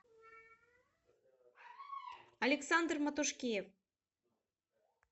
александр матушкиев